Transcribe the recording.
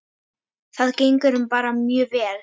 Það gengur bara mjög vel.